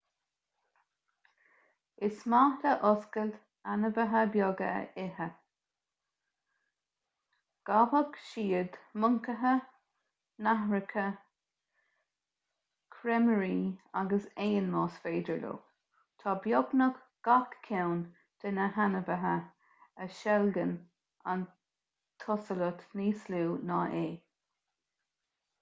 is maith le hosalait ainmhithe beaga a ithe gabhfaidh siad moncaithe nathracha creimirí agus éin más féidir leo tá beagnach gach ceann de na hainmhithe a sheilgeann an t-osalat níos lú ná é